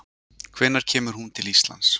Hvenær kemur hún til Íslands?